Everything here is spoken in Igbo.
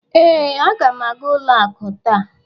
ee, aga m aga ụlọ akụ taa